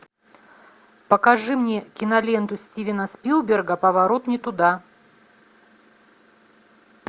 покажи мне киноленту стивена спилберга поворот не туда